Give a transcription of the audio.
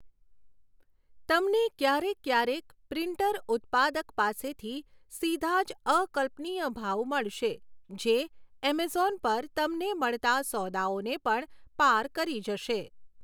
તમને ક્યારેક ક્યારેક પ્રિન્ટર ઉત્પાદક પાસેથી સીધા જ અકલ્પનીય ભાવ મળશે જે એમેઝોન પર તમને મળતા સોદાઓને પણ પાર કરી જશે.